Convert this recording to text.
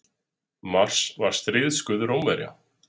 Mars var stríðsguð Rómverja.